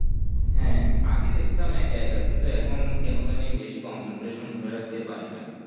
হ্যাঁ আগে দেখতাম একা একা কিন্তু এখুন কোনো জানি কোনো বেশি concentration ধরে রাখতে পারিনা